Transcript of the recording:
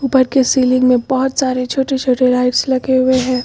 पर की सीलिंग में बहोत सारे छोटे छोटे लाइट्स लगे हुए हैं।